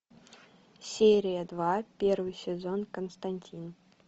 серия два первый сезон константин